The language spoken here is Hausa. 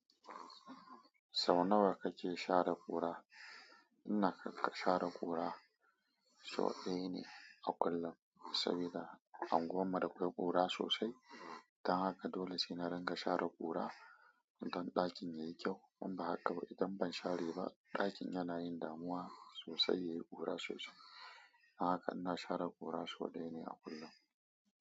Sau nawa kake share ƙura? Ina ƙaƙashan share ƙura sau ɗaya ne a kullum, saboda unguwarmu da kwai ƙura sosai. Don haka dole sai na ringa share ƙura don ɗakin yayi kyau. In ba haka ba, idan ban share ba ɗakin yana yin damuwa sosai, yayi ƙura sosai. Haka ina share ƙura sau ɗaya ne a kullum.